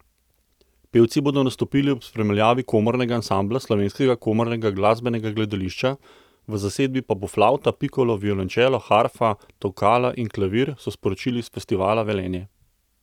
Pevci bodo nastopili ob spremljavi komornega ansambla Slovenskega komornega glasbenega gledališča, v zasedbi pa bo flavta, pikolo, violončelo, harfa, tolkala in klavir, so sporočili s Festivala Velenje.